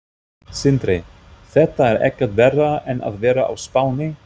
Sindri: Þetta er ekkert verra en að vera á Spáni?